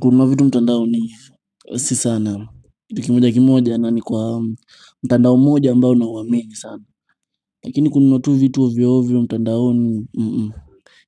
Kuna vitu mtandaoni si sana. Kitu kimoja kimoja na ni kwa mtandao mmoja ambao na huamini sana. Lakini kuna tu vitu ovyo ovyo ovyo mtandaoni.